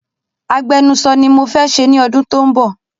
Agbenuso ni mo fẹ́ ṣe ní ọdún tó ń bọ̀